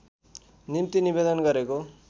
निम्ति निवेदन गरेको